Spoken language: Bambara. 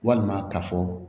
Walima ka fɔ